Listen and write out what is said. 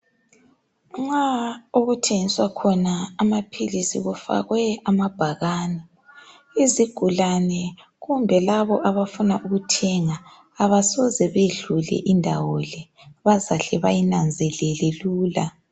Nxa okuthengiswa khona amaphilisi kufakwe amabhakane izigulane kumbe labo abafuna ukuthenga abasoze bedlule lindawo le. Bazahle bayinanzelele lula.